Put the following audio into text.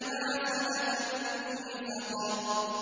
مَا سَلَكَكُمْ فِي سَقَرَ